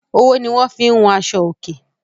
owó ní wón fín hùn Aṣọ oke